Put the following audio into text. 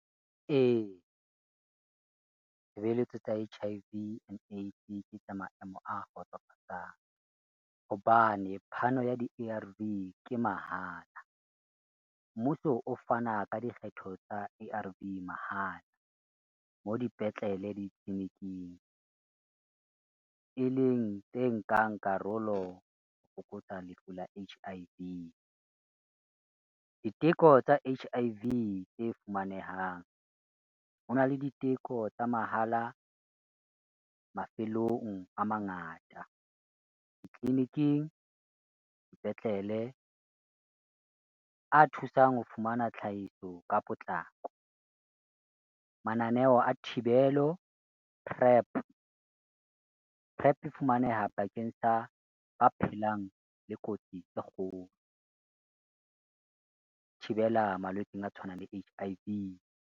E, tshebeletso tsa H_I_V, and AIDS ke tsa maemo a kgotsofatsang, hobane phano ya di-A_R_V ke mahala. Mmuso o fana ka dikgetho tsa A_R_V mahala, mo dipetlele le ditliliniking, e leng tse nkang karolo ho fokotsa lefu la H_I_V. Diteko tsa H_I_V tse fumanehang, ho na le diteko tsa mahala mafelong a mangata ditliliniking, dipetlele a thusang ho fumana tlhahiso ka potlako. Mananeo a thibelo prep, prep e fumaneha bakeng sa ba phelang le kotsi tse kgolo, ho thibela malwetseng a tshwanang le H_I_V.